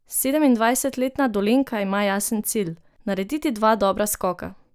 Sedemindvajsetletna Dolenjka ima jasen cilj: "Narediti dva dobra skoka.